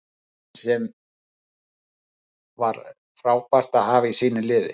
Menn sem var frábært að hafa í sínu liði.